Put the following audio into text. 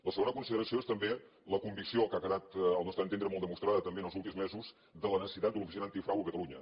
la segona consideració és també la convicció que ha quedat al nostre entendre molt demostrada també en els últims mesos de la necessitat de l’oficina antifrau a catalunya